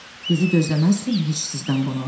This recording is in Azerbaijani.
Düzü gözləməzdim heç sizdən bunu.